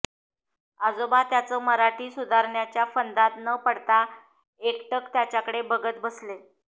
आजोबा त्याचं मराठी सुधारण्याच्या फंदात न पडता एकटक त्याच्याकडे बघत बसले